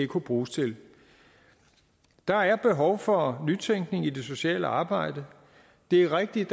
kunne bruges til der er behov for nytænkning i det sociale arbejde det er rigtigt